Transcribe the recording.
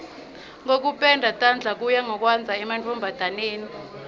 kokupenda tandla kuya ngekwandza emantfombataneni